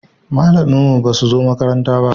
Malaman mu ba su zo makaranta ba